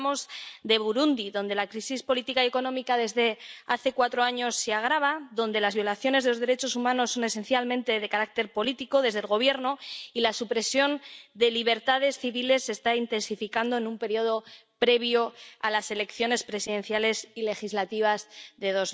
Hoy hablamos de Burundi, donde la crisis política y económica desde hace cuatro años se agrava, donde las violaciones de los derechos humanos son esencialmente de carácter político, desde el Gobierno, y la supresión de libertades civiles está intensificándose en un período previo a las elecciones presidenciales y legislativas de